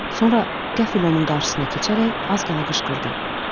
Sonra qəfil onun qarşısına keçərək az qala qışqırdı.